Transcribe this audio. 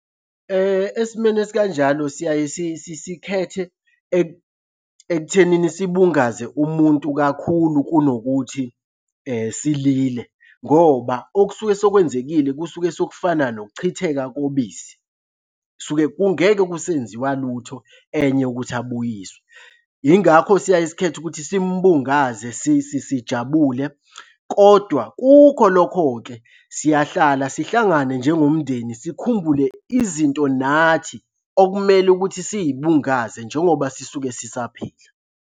Esimeni esikanjalo siyaye sikhethe ekuthenini sibungaze umuntu kakhulu kunokuthi silile, ngoba okusuke sekwenzekile kusuke sokufana nokuchitheka kobisi. Kusuke kungeke kusenziwa lutho enye ukuthi abuyiswe. Yingakho siyaye sikhethe ukuthi simubungaze sijabule, kodwa kukho lokho-ke siyahlala sihlangane njengomndeni sikhumbule izinto nathi okumele ukuthi siy'bungaze njengoba sisuke sisaphila.